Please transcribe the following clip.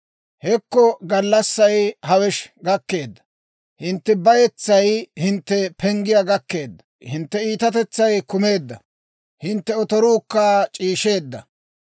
« ‹Hekko gallassay! hawesh gakkeedda! Hintte bayetsay hintte penggiyaa gakkeedda! Hintte iitatetsay kuukumeedda; hintte otoruukka c'iisheedda.